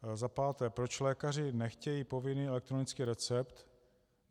Za páté, proč lékaři nechtějí povinný elektronický recept?